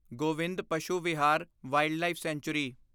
Govind Pashu Vihar wildlife sanctuary